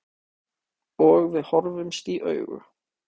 Og við horfumst í augu.